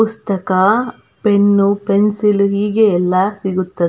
ಪುಸ್ತಕ pen pencil ಹೀಗೆ ಎಲ್ಲಾ ಸಿಗುತ್ತದೆ.